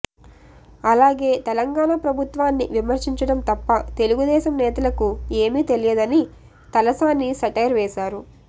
అలాగే తెలంగాణ ప్రభుత్వాన్ని విమర్శించడం తప్ప తెలుగుదేశం నేతలకు ఏమీ తెలియదని తలసాని సెటైర్ వేశారు